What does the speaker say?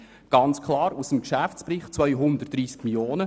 230 Mio. Franken sind klar aus dem Geschäftsbericht ersichtlich.